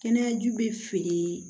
Kɛnɛyaju bɛ feere